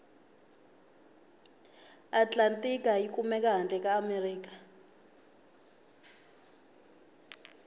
atlantika yikumeka hhandle kaamerika